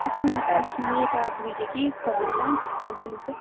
আচ্ছা আচ্ছা এ কি কম দাম? সব জিনিসের